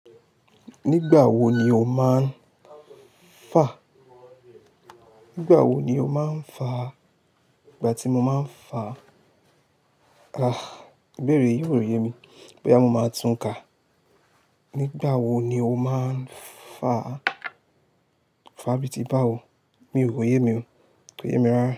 Nígbà wo ni o máa ń fa? Nígbà wo ni o máa ń fa? Ìgbà tí mo máa ń fa, ibẹ́ẹ̀re, yii o yemi. Boya mo máa tún kà. Nígbà wo ni o máa ń fa? Fa bíi ti bá wo, mi ò o yé mi o. Kò yé mi rárá.